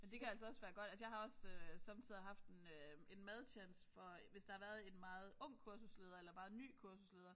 Men det kan altså også være godt altså jeg også øh somme tider haft en øh en madtjans for hvis der har været en meget ung kursusleder eller meget ny kursusleder